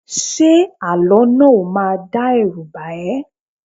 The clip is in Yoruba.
Ṣé àlọ́ náà ò máa dá ẹrú bà ẹ́?